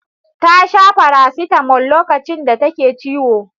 Ta sha farasitamol lokacin da take ciwo.